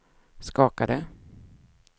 skakade